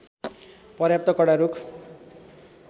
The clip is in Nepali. पर्याप्त कडा रूख